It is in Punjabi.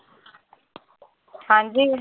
ਹਾਂਜੀ